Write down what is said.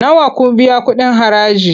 Nawa za ku biya kuɗin haraji?